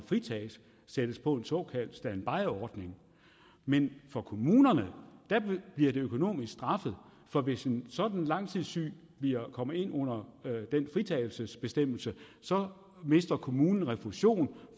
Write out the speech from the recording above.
sættes på en såkaldt standbyordning men for kommunerne bliver det økonomisk straffet for hvis en sådan langtidssyg kommer ind under den fritagelsesbestemmelse mister kommunen refusion